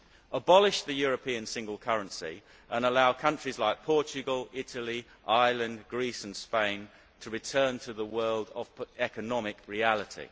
abolish the European single currency and allow countries like Portugal, Italy, Ireland, Greece and Spain to return to the world of economic reality.